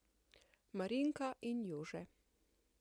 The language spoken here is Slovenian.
Marinka in Jože.